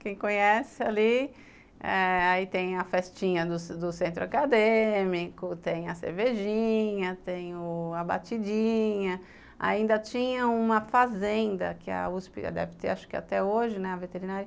Quem conhece ali, eh aí tem a festinha do centro acadêmico, tem a cervejinha, tem a batidinha, ainda tinha uma fazenda que a uspi deve ter, acho que até hoje, a veterinária